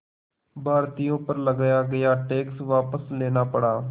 भारतीयों पर लगाया गया टैक्स वापस लेना पड़ा